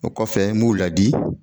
O kɔfɛ b'u ladi